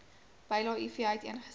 bylae iv uiteengesit